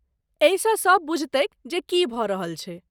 एहिसँ सब बुझतैक जे की भऽ रहल छैक।